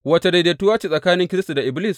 Wace daidaituwa ce tsakanin Kiristi da Iblis?